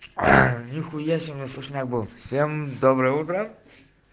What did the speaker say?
а нихуя себе сушняк был всем доброе утро